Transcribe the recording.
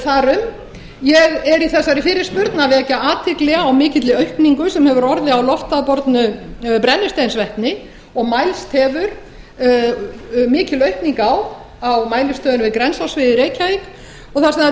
þar um ég er í þessari fyrirspurn að vekja athygli á mikilli aukningu sem hefur orðið á loft voru brennisteinsvetni og mælst hefur mikil aukning á á mælistöðinni við grensásveg í reykjavík og þar sem það